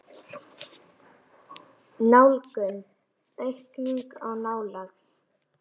Nálgun: aukning á nálægð?